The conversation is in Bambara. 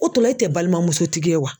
O tɔ la e tɛ balimamusotigi ye wa?